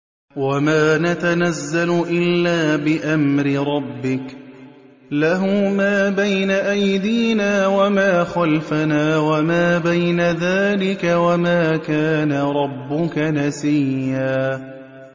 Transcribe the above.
وَمَا نَتَنَزَّلُ إِلَّا بِأَمْرِ رَبِّكَ ۖ لَهُ مَا بَيْنَ أَيْدِينَا وَمَا خَلْفَنَا وَمَا بَيْنَ ذَٰلِكَ ۚ وَمَا كَانَ رَبُّكَ نَسِيًّا